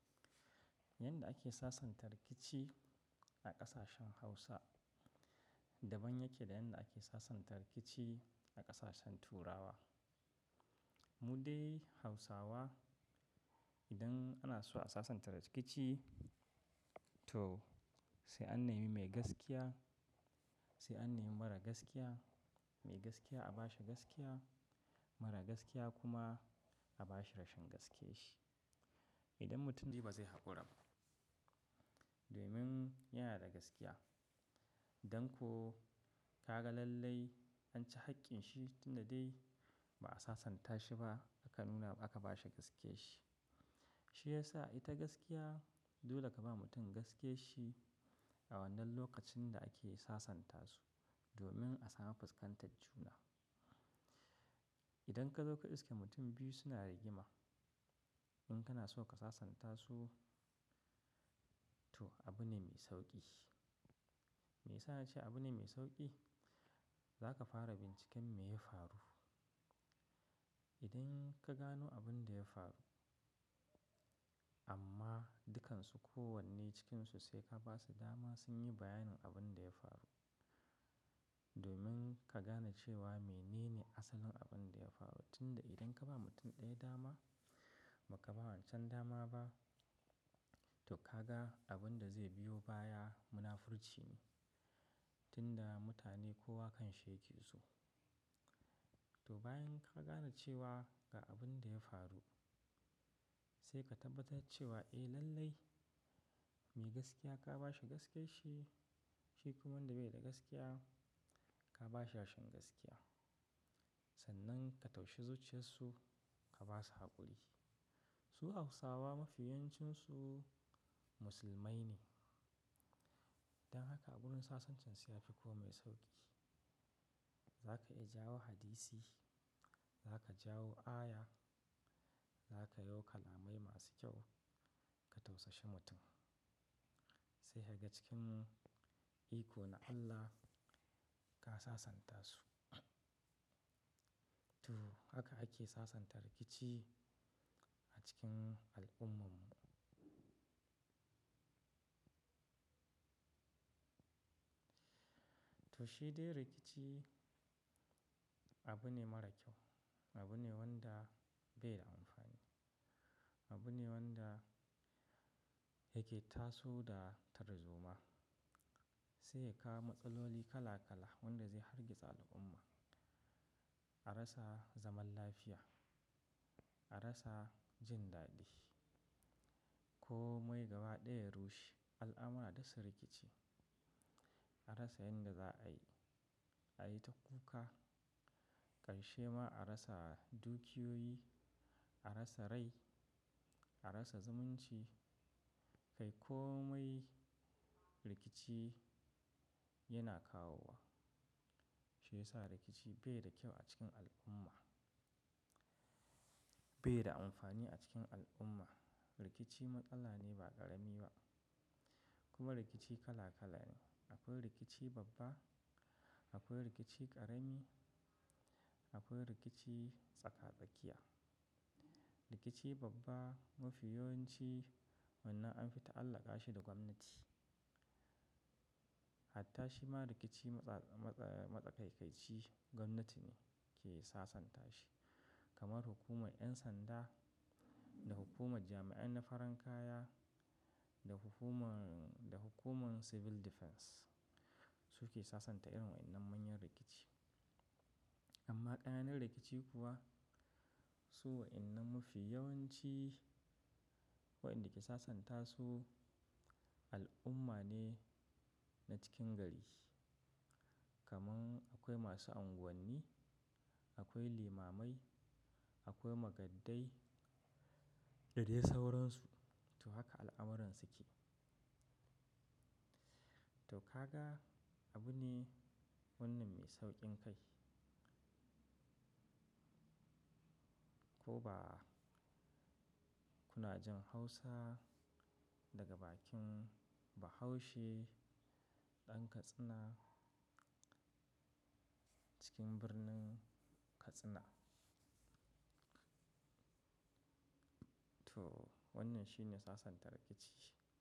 Yadda ake sasanta rikici a ƙasashen Hausa, daban yake da yadda ake sasanta rikici a ƙasashen Turawa. Mu dai Hausawa idan ana so a sasanta rikici to sai an nemi mai gaskiya, sai an nemi marar gaskiya. Mai gaskiya a ba shi gaskiya, marar gaskiya kuma a ba shi rashin gaskiye shi. Idan mutum ji ba zai haƙuri ba domin yana da gaskiya. Dan ko kaga lallai an ci haƙƙin shi tunda dai ba a sasanta shi ba aka nuna aka ba shi gaskiye shi. Shi yasa ita gaskiya dole ka ba mutum gaskiye shi a wannan lokacin da ake sasanta su domin a samu fuskantar juna. Idan ka zo ka iske mutum biyu suna rigima, in kana so ka sasanta su, to abu ne mai sauƙi. Me yasa na ce abu ne mai sauƙi? Za ka fara binciken me ya faru. Idan ka gano abin da ya faru amma dukansu kowanne cikinsu sai ka ba su dama sun yi bayanin abin da ya faru. Domin ka gane cewa menene asalin abin da ya faru. Tunda idan ka ba mutum ɗaya dama, ba ka ba wancan dama ba, to ka ga abin da zai biyo baya munafurci ne. Tunda mutane kowa kan shi yake so. To bayan ka gane cewa ga abin da ya faru, sai ka tabbatar cewa eh lallai mai gaskiya ka ba shi gaskiye shi, shi kuma wanda bai da gaskiya ka ba shi rashin gaskiya. Sannan ka taushi zuciyarsu ka ba su haƙuri. Su Hausawa mafiyincinsu musulmai ne. Dan haka a wurin sasancensu ya fi komai sauƙi. Za ka iya jawo hadisi, za ka jawo aya, za ka yauka lamai masu kyau ka taushe mutum. Sai daga cikin ikona Allah ka sasanta su. To haka ake sasanta rikici a cikin al'ummar mu. To shi dai rikici abu ne mara kyau, abu ne wanda bai da amfani. Abu ne wanda yake taso da tarzoma. Sai ya kawo matsaloli kala kala wanda zai hargitsa al'umma. A rasa zaman lafiya, a rasa jin daɗi. Ko mai gaba ɗaya ya rushe. Al'amara da su rikici. A rasa yadda za a yi, a yi ta kuka. Karshe ma a rasa dukiyoyi, a rasa rai, a rasa zumunci. Kai komai rikici yana kawowa. Shi yasa rikici bai da kyau a cikin al'umma. Bai da amfani a cikin al'umma. Rikici matsala ne ba ƙarami ba. Kuma rikici kala kala ne. Akwai rikici babba, akwai rikici ƙarami, akwai rikici tsaka-tsakiya. Rikici babba mafiyawancin wannan an fita Allah ƙashi da gwamnati. Hatta shima rikici matsakaici gwamnati ne ke sasanta shi. Kamar hukumar 'yan sanda da hukumar jami'an na faran kaya da hukumar Civil Defense su ke sasanta irin waɗannan manyan rikici. Amma ƙananan rikici kuwa su waɗannan mafi yawanci waɗanda ke sasanta su al'umma ne na cikin gari. Kaman akwai masu unguwanni, akwai limamai, akwai magaddai, da dai sauransu. To haka al'amuransu ke. To ka ga abu ne wannan mai sauƙin kai. Ko ba. Kunajin Hausa daga bakin Bahaushe ɗan Katsina cikin birnin Katsina. To wannan shi ne sasanta rikici.